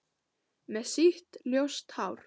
Með sítt, ljóst hár.